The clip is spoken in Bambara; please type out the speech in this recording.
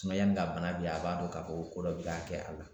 yanni ka bana a b'a dɔn k'a fɔ ko ko dɔ bi ka kɛ a la